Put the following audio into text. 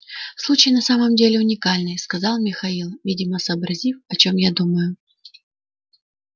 случай на самом деле уникальный сказал михаил видимо сообразив о чем я думаю